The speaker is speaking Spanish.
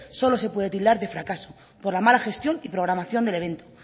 solo se puede tildar de fracaso por la mala gestión y programación del evento